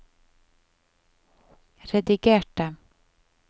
redigerte